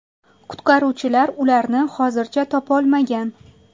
Qutqaruvchilar ularni hozircha topolmagan.